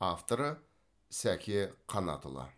авторы сәке қанатұлы